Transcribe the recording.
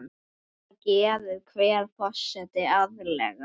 Þetta gerir hver forseti árlega.